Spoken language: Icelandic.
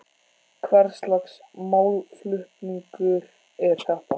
Hvers lags málflutningur er þetta?